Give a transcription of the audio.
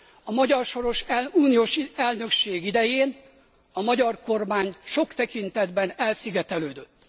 A magyar soros uniós elnökség idején a magyar kormány sok tekintetben elszigetelődött.